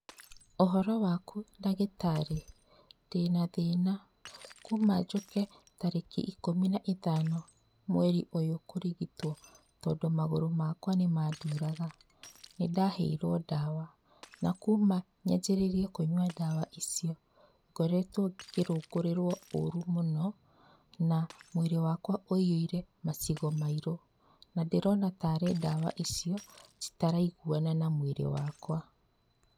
Ũhoro waku ndagĩtarĩ ndĩna thĩna kuma njũke tarĩki ikũmi na ithano mweri ũyũ kũrigitwo tondũ magũrũ makwa nĩmanduraga, nĩndaheirwo ndawa na kuma nyanjĩrĩrie kũnywa ndawa icio ngoretwo ngĩrũngũrĩrwo ũru mũno, na mwĩrĩ wakwa wũihũrĩte macigo mairũ na ndĩrona tarĩ ndawa icio citaraiguana na mwĩrĩ wakwa.